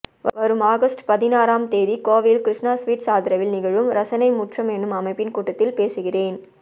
வரும் ஆகஸ்ட் பதினாறாம் தேதி கோவையில் கிருஷ்ணா ஸ்வீட்ஸ் ஆதரவில் நிகழும் ரசனைமுற்றம் என்னும் அமைப்பின் கூட்டத்தில் பேசுகிறேன்